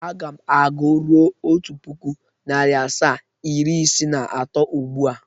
Aga m agụ ruo Otu puku, nari asaa, iri isiii na ato ugbụ a.